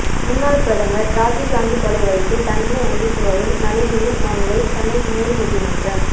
முன்னாள் பிரதமர் ராஜீவ் காந்தி கொலை வழக்கில் தண்டனை அனுபவித்துவரும் நளினியின் மனுவை சென்னை மேல் நீதிமன்றம்